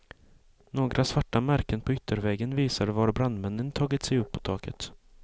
Några svarta märken på ytterväggen visar var brandmännen tagit sig upp på taket.